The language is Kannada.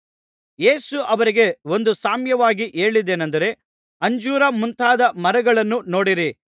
ಯೇಸು ಅವರಿಗೆ ಒಂದು ಸಾಮ್ಯವಾಗಿ ಹೇಳಿದ್ದೇನಂದರೆ ಅಂಜೂರ ಮುಂತಾದ ಮರಗಳನ್ನೂ ನೋಡಿರಿ